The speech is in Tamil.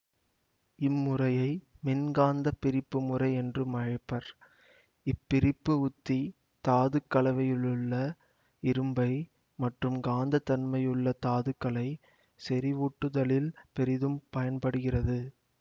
இம்முறையை மின்காந்தப் பிரிப்பு முறை என்றும் அழைப்பர் இப்பிரிப்பு உத்தி தாதுக் கலவையிலுள்ள இரும்பை மற்றும் காந்த தன்மையுள்ள தாதுக்களை செறிவூட்டுதலில் பெரிதும் பயன்படுகிறது